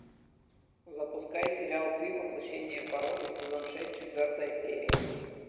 запускай сериал ты воплощение порока сезон шесть четвертая серия